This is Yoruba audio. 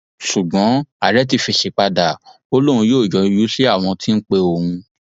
ṣùgbọn ààrẹ ti fèsì padà ó lóun yóò yọjú sí àwọn tó ń pe òun